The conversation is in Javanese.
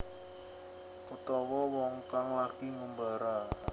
Utawa wong kang lagi ngumbara